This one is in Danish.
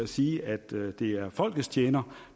sige at det er folkets tjener